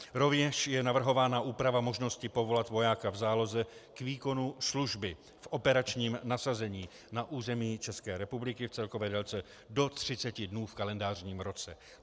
Rovněž je navrhována úprava možnosti povolat vojáka v záloze k výkonu služby v operačním nasazení na území České republiky v celkové délce do 30 dnů v kalendářním roce.